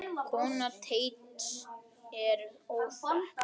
Kona Teits er óþekkt.